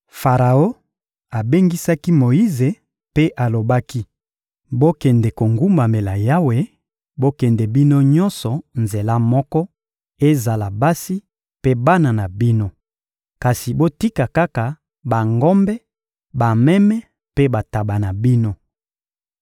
Faraon abengisaki Moyize mpe alobaki: — Bokende kogumbamela Yawe; bokende bino nyonso nzela moko, ezala basi mpe bana na bino. Kasi botika kaka bangombe, bameme mpe bantaba na bino.